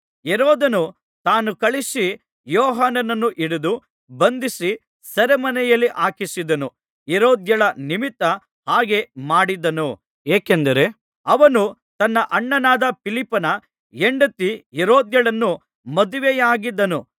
ಹೆರೋದನು ತಾನೇ ಕಳುಹಿಸಿ ಯೋಹಾನನನ್ನು ಹಿಡಿದು ಬಂಧಿಸಿ ಸೆರೆಮನೆಯಲ್ಲಿ ಹಾಕಿಸಿದ್ದನು ಹೆರೋದ್ಯಳ ನಿಮಿತ್ತ ಹಾಗೆ ಮಾಡಿದ್ದನು ಏಕೆಂದರೆ ಅವನು ತನ್ನ ಅಣ್ಣನಾದ ಫಿಲಿಪ್ಪನ ಹೆಂಡತಿ ಹೆರೋದ್ಯಳನ್ನು ಮದುವೆಯಾಗಿದ್ದನು